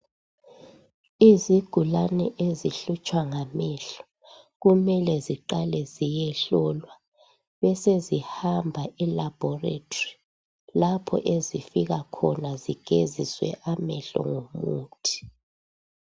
Izigulane ezihlutshwa ngamehlo, kumele ziqale ziyehlolwa, besezihamba elaboratory lapho ezifika khona zigeziswe amehlo ngomuthi.